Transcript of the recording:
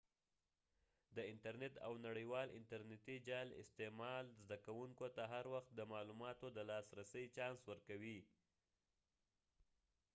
د انترنیت او نړیوال انتر نیتی جال استعمال زده کوونکو ته هر وخت د معلوماتو د لاس رسی چانس ورکوی